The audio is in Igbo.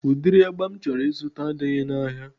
Udiri agba m chọrọ ịzụta adịghị na ahịa